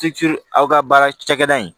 aw ka baara cakɛda in